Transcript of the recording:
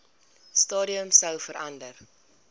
stadium sou verander